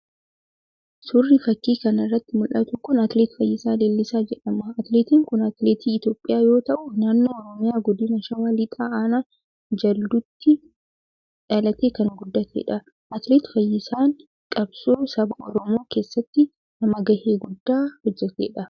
Suurri fakii kana irratti mul'atu kun Atileet Fayisaa Leellisaa jedhama. Atileetiin kun atileetii Itoophiyaa yoo ta'u, naannoo Oromiyaa godina Shawaa Lixaa Aanaa Jalduuttii dhalatee kan guddatedha. Atileet Fayisaan Qabsoo saba Oromoo keessatti nama gahee guddaa hojjetedha.